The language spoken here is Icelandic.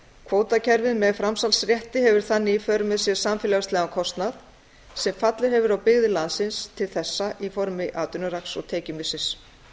kvótakerfið með framsalsrétti hefur þannig í för með sér samfélagslegan kostnað sem fallið hefur á byggðir landsins til þessa í formi atvinnurasks og tekjumissis